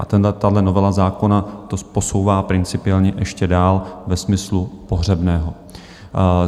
A tahle novela zákona to posouvá principiálně ještě dál ve smyslu pohřebného.